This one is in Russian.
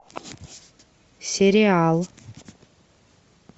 сериал